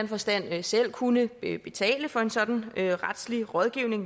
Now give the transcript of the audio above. forstand selv kunne betale for en sådan retslig rådgivning